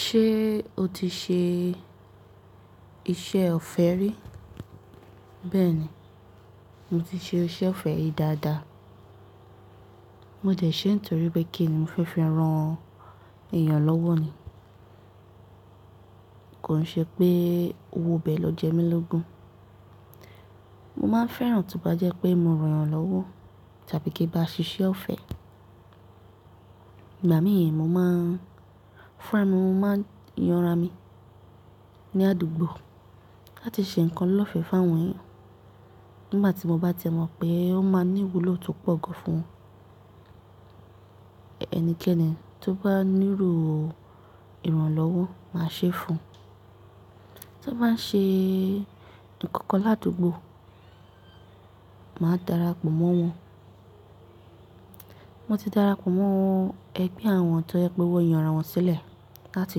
Ṣé o ti ṣe iṣẹ́ ọ̀fẹ́ rí? Bẹ́ẹ̀ni, mo ti ṣe iṣẹ́ ọ̀fẹ́ rí dáadáa. Mo dẹ̀ ṣẹ́ nítorí pé kí ni mo fẹ́ fi ran èèyàn lọ́wọ́ ni. Kò ṣe pé owó bẹ lọ jẹ mí lógún. Mo máa fẹ́ràn tó bá jẹ́ pé mo ran èèyàn lọ́wọ́ tàbí kí n bá ṣiṣẹ́ ọ̀fẹ́. Ìgbà mìi mo máa fún ra mi, mo máa yanra mi ní àdúgbò láti ṣe nǹkan lọ́fẹ́ fún àwọn èèyàn nígbà tí mo bá timọ́ pé ó máa ní ìwúlò tó pọ̀ gan fún ẹnikẹ́ni tó bá nílò ìrànlọ́wọ́ máa ṣe fún un. Tó n bá ń ṣe nǹkan kan ládùúgbò, màá darapọ̀ mọ́ wọn. Mo ti darapọ̀ mọ́ ẹgbẹ́ àwọn tó yẹ pé wọ́n yanra wọn sílẹ̀ láti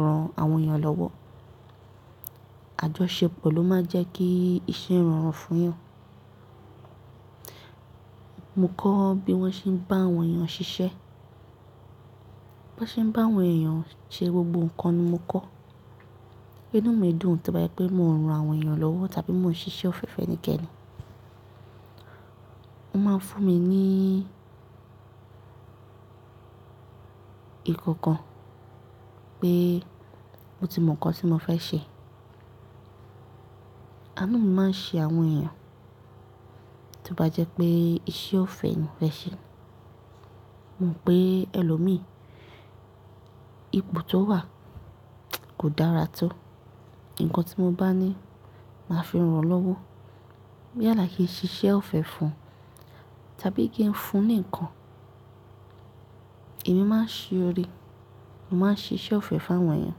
ran àwọn èèyàn lọ́wọ́. Àjọṣepọ̀ ló máa ń jẹ́ kí iṣẹ́ rọrùn fún èèyàn. Mo kọ́ bí wọ́n ṣe ń bá àwọn èèyàn ṣiṣẹ́. Bí wọ́n ṣe ń bá àwọn èèyàn ṣe gbogbo nǹkan ni mo kọ́. Inú mi dùn tó bá jẹ́ pé mo ń ran àwọn èèyàn lọ́wọ́ tàbí mo ń ṣiṣẹ́ ọ̀fẹ́ fún ẹnikẹ́ni. Wọ́n máa ń fún mi ní- ìkankan pé mo ti mọ nǹkan tí mo fẹ́ ṣe. Àánú mi máa ń ṣe àwọn èèyàn tí ó bá jẹ́ pé iṣẹ́ ọ̀fẹ́ ni mo fẹ́ ṣe. Mo mọ̀ pé ẹlòmíì, ipò tó wà kò dára tó. Ǹkan tí mo bá ní, màá fi ran lọ́wọ́. Yàlà kí n ṣiṣẹ́ ọ̀fẹ́ fún un tàbí kí n fún un ní nǹkan, èmi máa ṣe oore. Mo máa ń ṣiṣẹ́ ọ̀fẹ́ fún àwọn èèyàn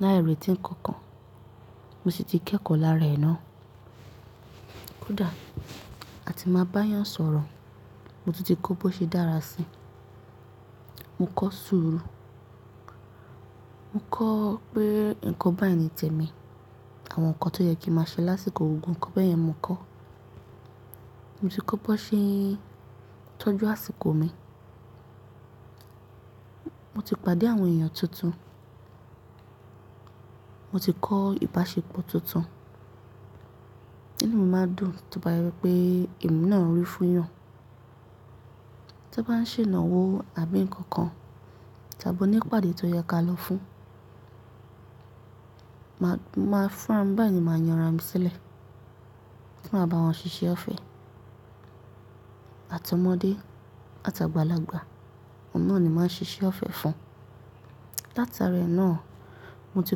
lái rètí ńkankan. Mo sì ti kẹ́kọ̀ọ́ lára ẹ̀ náà. Kódà a ti máa bá yàn sọ̀rọ̀, mo tunti kọ́ bó ṣe dára sí i. Mo kọ́ sùúrù. Mo kọ́ pé nǹkan báyìí ni tẹ̀ mí. Àwọn nǹkan tó yẹ kí n máa ṣe lásìkò o, gbogbo nǹkan bẹ́ẹ̀ yẹn mo kọ́. Mo ti kọ́ bó ṣe ń tọ́jú àsìkò mi. Mo ti pàdé àwọn èèyàn tuntun. Mo ti kọ́ ìbáṣepọ̀ tuntun. Inú mi máa ń dùn tí bá yẹ pé emi náà rí fún yàn. Tó bá ń ṣe ìnáwó àbí nǹkan kan, tàbí oní ìpàdé tó yẹ ká lọ fún, màá fún ra mi báyìí ni máa yanra mi sílẹ̀ ti maà bawọ́n ṣiṣẹ́ ọ̀fẹ́. Àti omọ̀dé àtàgbalàgba, òun náà ni màá ṣiṣẹ́ ọ̀fẹ́ fún. Látare náà, mo ti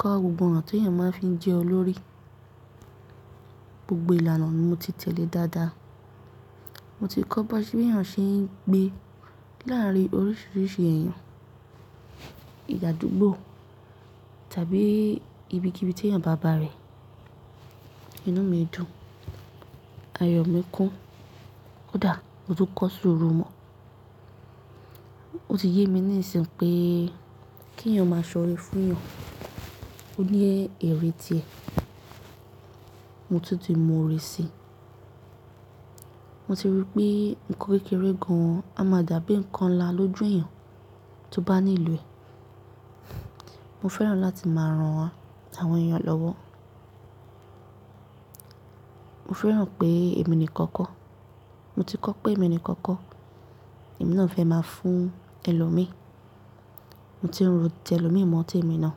kọ́ gbogbo ọ̀nà tí èèyàn máa ń fi jẹ́ olórí. Gbogbo ìlànà ni mo ti tẹ̀lé dáadáa. Mo ti kọ́ bí èèyàn ṣe ń gbé láàárín oríṣiríṣi èèyàn, àdúgbò tàbí ibikíbi tí èèyàn bá bà rẹ̀. Inú mi dùn, ayọ̀ mi kún. Kódà mo tún kọ́ sùúrù mọ́, ó ti yé mi níìsìn pé kí èèyàn máa ṣoọ̀re fún èèyàn, ó ní èrè tí ẹ. Mo tún ti mọ oore sii. Mo ti rí pé nǹkan kékeré kan a máa dàbí nǹkan nlá lójú èèyàn tó bá ní ìlò ẹ. Mo fẹ́ràn láti máa ran àwọn èèyàn lọ́wọ́. Mo fẹ́ràn pé èmi nìkan kọ́. Mo ti kọ́ pé èmi nìkan kọ́. Emi náà fẹ́ máa fún ẹlòmíì. Mo ti ń rò ti ẹlòmíì mọ́ tèmi náà.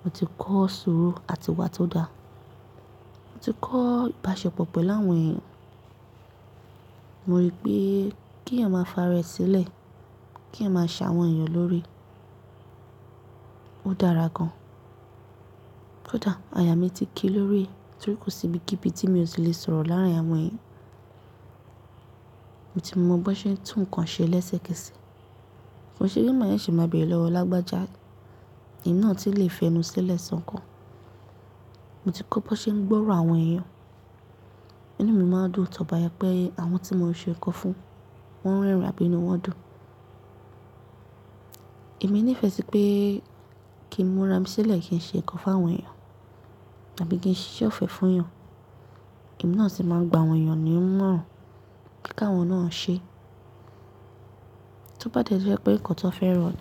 Mo ti kọ́ sùúrù àti ìwà tó dáa. Mo ti kọ́ ìbáṣepọ̀ pẹ̀lú àwọn èèyàn. Mo rí pé kí èèyàn máa fi aárẹ sílẹ̀, kí èèyàn máa ṣáwọn èèyàn lóore, ó dára gan. Kódà àyà mí ti kí lórí e, torí kò sí ibikíbi tí mi ò tí lè sọ̀rọ̀ láàárín àwọn èèyàn. Mo ti mọ bó ṣe ń tún nǹkan ṣe léṣe kẹṣẹ̀. Kò n ṣe pé ma seṣe máa bẹ̀rẹ̀ lọ́wọ́ lágbájá. Emi náà tu n lè fẹnu sílẹ̀ sọ́ ǹkan. Mo ti kọ́ bó ṣe ń gbọ́ro àwọn èèyàn. Inú mi máa ń dùn tó bá yẹ pé àwọn tí mo ń ṣe ńkan fún, wọ́n rẹ́rìn-ín àbí inú wọn dùn. Emi nífẹ́ sí pé kí n múra mi sílẹ̀ kí n ṣe ńkan fún àwọn èèyàn àbí kí n ṣise ọ̀fẹ́ fún èèyàn. Emi náà sì máa ń gba àwọn èèyàn nìmọ̀rán pé ka àwọn náà ṣe. Tó bá dẹ́ tí ó jẹ́ pé nǹkan tó fẹ́ran ni.